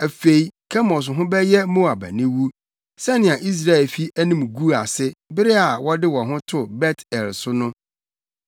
Afei Kemos ho bɛyɛ Moab aniwu, sɛnea Israelfi anim guu ase bere a wɔde wɔn ho too Bet-El so no.